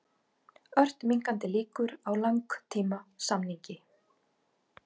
Ört minnkandi líkur á langtímasamningi